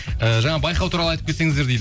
і жаңа байқау туралы атып кетсеңіздер дейді